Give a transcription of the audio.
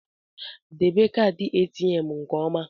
Debe kaadị ATM nke ọma!